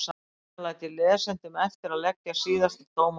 Síðan læt ég lesendum eftir að leggja síðasta dóm á deilurnar.